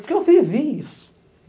Porque eu vivi isso.